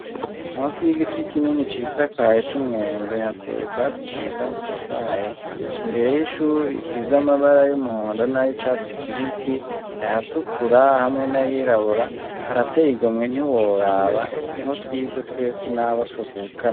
Munsi y'igiti kinini cisakaye c'umwembe hateye ubwatsi bwiza butotahaye imbere y'ishure isize amabara y'umuhondo nay'icatsi kibisi, ayatukura hamwe n'ayirabura. Harateye igomwe ntiworaba, niho twize twese n'abo tuvukana.